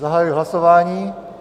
Zahajuji hlasování.